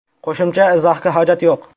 Qo‘shimcha izohga hojat yo‘q.